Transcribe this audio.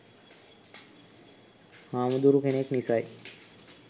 හාමුදුරු කෙනෙක් නිසයි